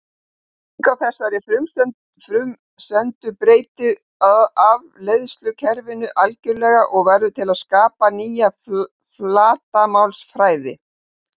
Breyting á þessari frumsendu breytir afleiðslukerfinu algjörlega og verður til að skapa nýja flatarmálsfræði.